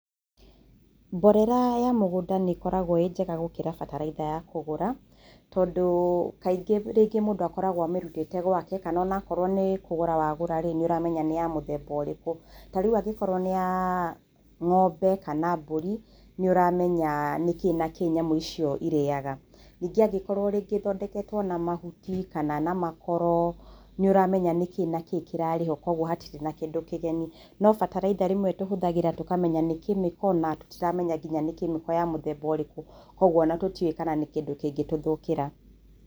Mborera ya mũgũnda nĩ ĩkoragwo ĩ njega gũkĩra bataraitha ya kũgũra tondũ kaingĩ rĩngĩ mũndũ akoragwo amĩrutĩte gwake, kana o na okorwo nĩ kũgũra wagũra rĩ, nĩ ũramenya nĩ ya mũthemba ũrĩkũ. Ta rĩu angĩkorwo nĩ ya ng'ombe kana mbũri nĩ ũramenya nĩkĩĩ na kĩĩ nyamũ icio irĩaga. Ningĩ angĩkorwo rĩngĩ ĩthondeketwo na mahuti kana na makoro nĩ ũramenya nĩkĩĩ na kĩĩ kĩrarĩ ho kwoguo hatirĩ na kĩndũ kĩgeni. No bataraitha rĩmwe tũhũthagĩra tũkamenya nĩ kemiko na tũtiramenya nginya nĩ kemiko ya mũthemba ũrĩkũ. Kwoguo o na tũtiũĩ kana nĩ kĩndũ kĩngĩ tũthũkĩra.